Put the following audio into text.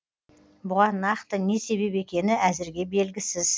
бұған нақты не себеп екені әзірге белгісіз